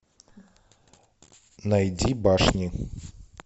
найди башни